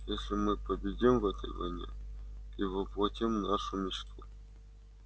если мы победим в этой войне и воплотим нашу мечту